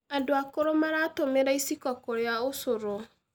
Andũ akũrũ maratũmĩra iciko kũrĩa ũcũrũ